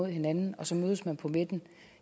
hinanden og så mødes man på midten